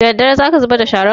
Daddare za ka zubar da sharan?